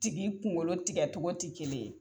Tigi kunkolo tigɛ togo te kelen ye